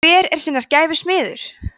hver er sinnar gæfu smiður